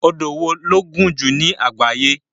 Odò wo ló gùn jù ní àgbáyé?